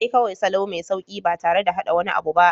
Sai kawai salo mai sauƙi ba tare da haɗa wani abu ba.